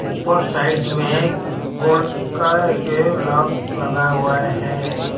ऊपर साइड में गोल का एक लॉक लगा हुआ है।